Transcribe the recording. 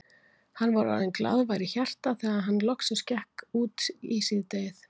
Hann var orðinn glaðvær í hjarta þegar hann loksins gekk út í síðdegið.